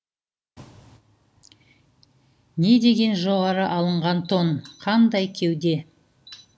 недеген жоғары алынған тон қандай кеуде